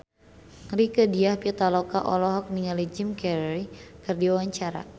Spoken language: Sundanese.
Rieke Diah Pitaloka olohok ningali Jim Carey keur diwawancara